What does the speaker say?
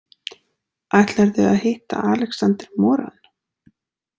Ætlarðu að hitta Alexander Moran?